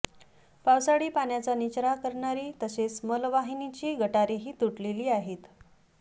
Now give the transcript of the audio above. पावसाळी पाण्याचा निचरा करणारी तसेच मलवाहिनीची गटारेही तुटलेली आहेत